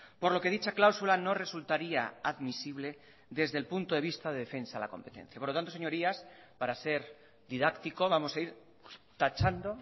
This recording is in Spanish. por lo que dicha cláusula no resultaría admisible desde el punto de vista de defensa a la competencia por lo tanto señorías para ser didáctico vamos a ir tachando